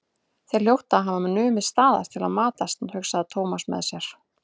Þeir hljóta að hafa numið staðar til að matast, hugsaði Thomas með sér.